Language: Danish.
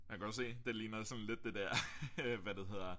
Jeg kan godt se det ligner sådan lidt det dér hvad det hedder